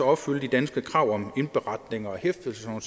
opfylde de danske krav om indberetning og hæftelse og